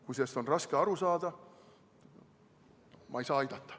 Kui sellest on raske aru saada, siis ma ei saa aidata.